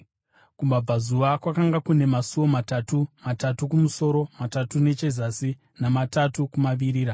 Kumabvazuva kwakanga kune masuo matatu, matatu kumusoro, matatu nechezasi namatatu kumavirira.